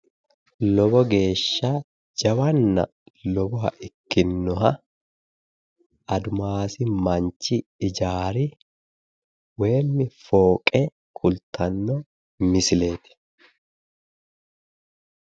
Lowo geeshsha lowoha ikkinnoha admas manchi ijaari fooqqe kultanno misileeti.